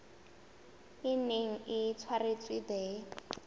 e neng e tshwaretswe the